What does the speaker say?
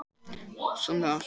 Sönn ást